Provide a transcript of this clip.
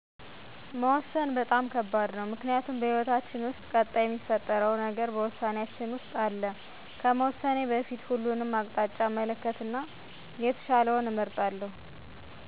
መወሰን በጣም ከባድ ነው ምክንያቱም በህይወታችን ውስጥ ቀጣይ ሚፈጠረው ነገር በውሳኔያችን ውስጥ አለ። ከመወሰኔ በፊት ሁሉንም አቅጣጫ እመለከትና የተሻለውን እመርጣለሁ።